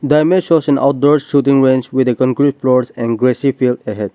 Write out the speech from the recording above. the image shows an outdoor shooting range with a concrete floors and grassy field ahead.